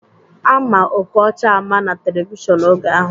Ama Okocha ama na televishọnu oge ahụ